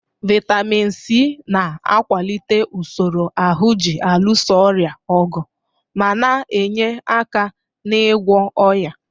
Vaịtamin Sii na-akwalite usoro ahụ ji alụso ọrịa ọgụ ma na-enye aka n'ịgwọ ọnya.